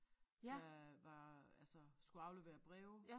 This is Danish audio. Der var altså skulle aflevere breve